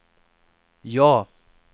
ja